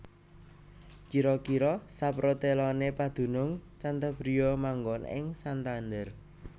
Kira kira saproteloné padunung Cantabria manggon ing Santander